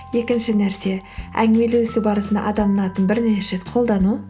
екінші нәрсе әңгімелесу барысында адамның атын бернеше рет қолдану